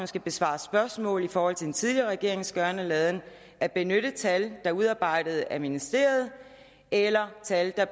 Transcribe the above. skal besvare spørgsmål i forhold til den tidligere regerings gøren og laden at benytte tal er udarbejdet af ministeriet eller tal der